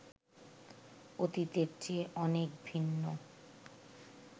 অতীতের চেয়ে অনেক ভিন্ন